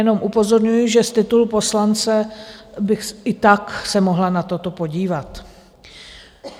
Jenom upozorňuji, že z titulu poslance bych i tak se mohla na toto podívat.